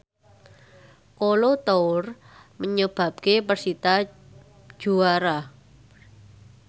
Kolo Toure nyebabke persita juara